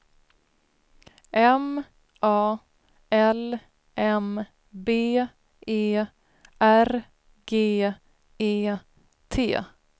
M A L M B E R G E T